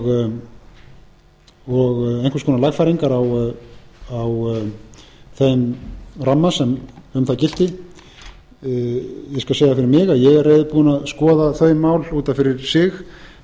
konar lagfæringar á þeim ramma sem um það gilti ég skal segja fyrir mig að ég er reiðubúinn að skoða þau mál út af fyrir sig